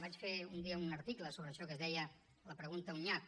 vaig fer un dia un article sobre això que es deia la pregunta un nyap